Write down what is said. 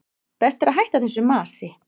Best að hætta þessu masi.